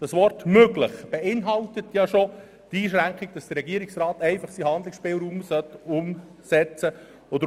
» Das Wort «möglich» beinhaltet bereits die Einschränkung, wonach der Regierungsrat nur seinen Handlungsspielraum ausnützen soll.